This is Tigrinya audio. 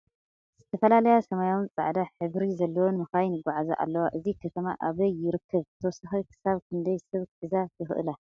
ዝተፈላለያ ሰማያውን ፃዕዳ ሕብሪ ዘለወን ምካይን ይጎዓዛ ኣለዋ ። እዚ ከተማ ኣበይ ይርከብ ብተወሳኪ ክሳብ ክንደይ ሰብ ክሕዛ ይክእላ ?